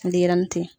Denyɛrɛnin tɛ yen